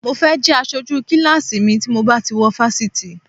Mo fẹ́ jẹ́ aṣojú kíláàsì mi tí mo bá ti wọ fásitì